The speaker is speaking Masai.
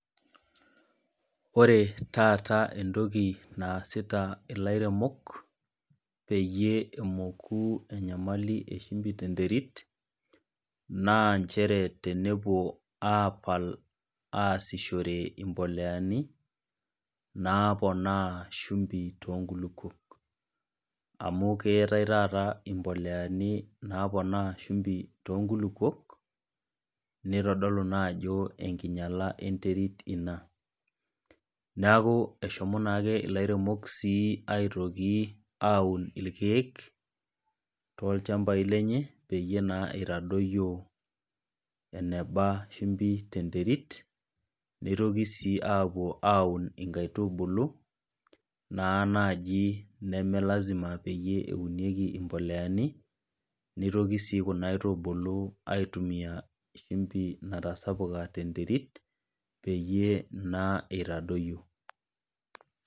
Ore taata entokinaasita elairemok peyie emoku enyamali eshimbi tee nterit naa njere tenepuo asishoree mbolea naponaa shimbi too nkulupuok amu keetae taata mbolea napoona shimbi too nkulupuok neitodolu naa Ajo enkinyiala enterit ena neeku eshomo naake elairemok aitoki aun irkek too il shamba lenye peyie naa eitadoyio enaba shimbi tee nterit nitoki sii apuo aun enkaitubulu naa naaji neme lazima naaji peyie eunikie mbolea neitoki sii Kuna aitubulu aitumia shimbi natasapuka tee nterit peyie naa eitadoyio